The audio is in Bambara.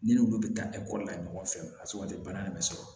Ni olu bɛ taa ekɔli la ɲɔgɔn fɛ a sugu ka di bana in bɛ sɔrɔ